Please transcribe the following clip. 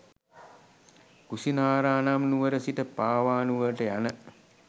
කුසිනාරා නම් නුවර සිට පාවා නුවරට යන